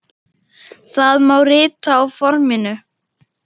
Það má rita á forminu